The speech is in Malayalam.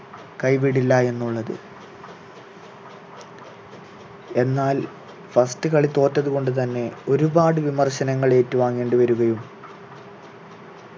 കൈവിടില്ല എന്നുള്ളത് എന്നാൽ first കളി തോറ്റതു കൊണ്ടു തന്നെ ഒരുപാട് വിമർശനങ്ങൾ ഏറ്റു വാങ്ങേണ്ടി വരുകയും